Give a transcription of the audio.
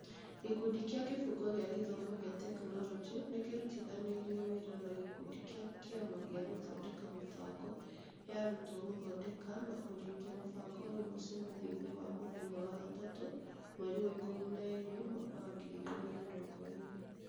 Gĩkundi kĩa Kĩbungo kĩa gĩthomo kĩa tekinoronjĩ nĩ kĩrutithanirie wĩra na gĩkundi kĩa Kĩama gĩa Gũthondeka Mĩbango ya Arutwo gũthondeka na kũrĩkia mũbango ũyũ mũcemanio-inĩ wa mũthenya wa gatatũ mweri wa ikũmi na ĩĩrĩ mwaka wa ngiri igĩrĩ na mĩrongo ĩĩrĩ.